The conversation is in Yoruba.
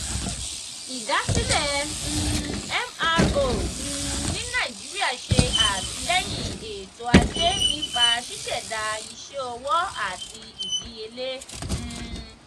idasile um mro um ni nigeria ṣe atilẹyin eto-aje nipa ṣiṣẹda iṣẹ owo ati idiyele. um